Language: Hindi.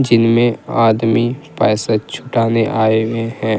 जिनमें आदमी पैसा छुटाने आए हुए हैं।